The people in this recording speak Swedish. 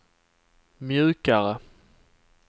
mjukare